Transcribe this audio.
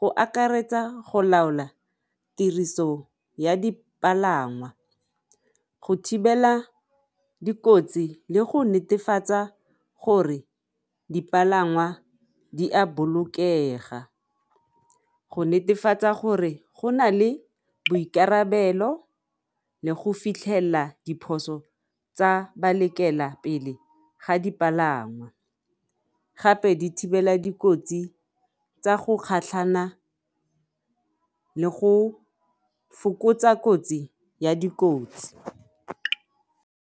go akaretsa go laola tiriso ya dipalangwa, go thibela dikotsi le go netefatsa gore dipalangwa di a bolokega, go netefatsa gore go na le boikarabelo le go fitlhelela diphoso tsa balekelapele ga dipalangwa gape di thibela dikotsi tsa go kgatlhana le go fokotsa kotsi ya dikotsi.